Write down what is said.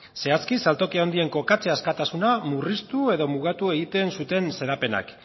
zehazki saltoki handien kokatze askatasuna murriztu edo mugatu egiten zuren xedapenak